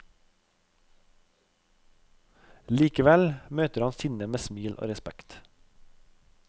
Likevel møter han sinne med smil og respekt.